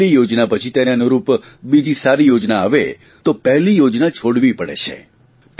અને પહેલી યોજના પછી તેને અનુરૂપ બીજી સારી યોજના આવે તો પહેલી યોજના છોડવી પડે છે